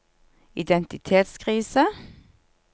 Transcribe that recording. identitetskrise